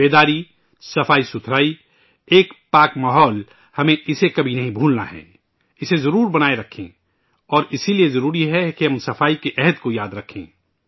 سوچیتا، صافصفائی ، ایک مقدس ماحول ہمیں اسے کبھی نہیں بھولناہے، اسے ضرور بنائے رکھیں اور اس لئے ضروری ہے ، کہ ہم سوچھتا کے عزم کو یاد رکھیں